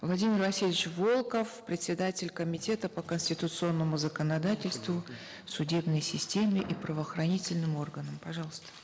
владимир васильевич волков председатель комитета по конституционному законодательству судебной системе и правоохранительным органам пожалуйста